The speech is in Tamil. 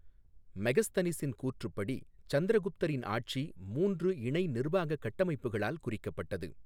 மெகஸ்தனிஸின் கூற்றுப்படி, சந்திரகுப்தரின் ஆட்சி மூன்று இணை நிர்வாக கட்டமைப்புகளால் குறிக்கப்பட்டது.